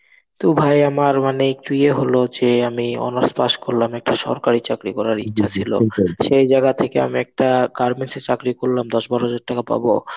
তো ভাই আমার একটু ইয়ে এ হলো যে আমি honours pass করলাম একটা সরকারি চাকরি করার ইচ্ছা ছিল. সেই জায়গা থেকে আমি একটা garments এ চাকরি করলাম, দশ বারো হাজার টাকা পাবো,